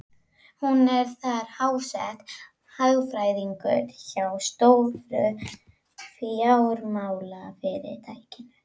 Hún er þar háttsett, hagfræðingur hjá stóru fjármálafyrirtæki.